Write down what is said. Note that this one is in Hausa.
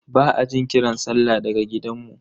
Ba a jin kiran sallah daga gidanmu.